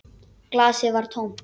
Glasið var tómt.